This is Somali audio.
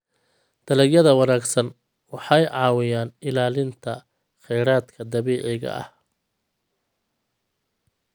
Dalagyada wanaagsan waxay caawiyaan ilaalinta kheyraadka dabiiciga ah.